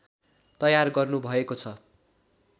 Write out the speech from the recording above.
तयार गर्नुभएको छ